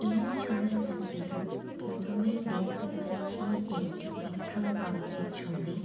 এই ছবিটাতে পথমেই দেখতে পাচ্ছি-ই একটি পেট্রোল পাম্প এর ছবি।